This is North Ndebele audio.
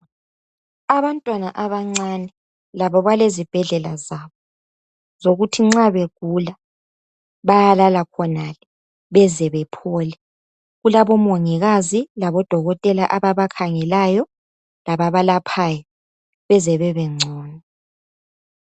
Abantwana abancane labo balezibhedlela zabo zokuthi nxa begula bayalala khonale beze bephole kulabomongikazi labodokotela ababakhangelayo lababalaphayo beze bebengcono.